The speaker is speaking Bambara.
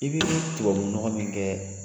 I bi tubabunɔgɔ min kɛ